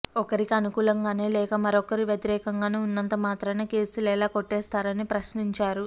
ఒకరికి అనుకూలంగానో లేక మరొకరికి వ్యతిరేకంగానో ఉన్నంత మాత్రాన కేసులు ఎలా కొట్టేస్తారని ప్రశ్నించారు